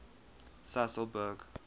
sasolburg